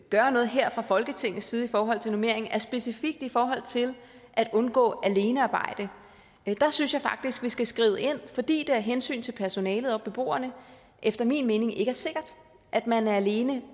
gøre noget her fra folketingets side i forhold til normeringen er specifikt i forhold til at undgå alenearbejde der synes jeg faktisk vi skal skride ind fordi det af hensyn til personalet og beboerne efter min mening ikke er sikkert at man er alene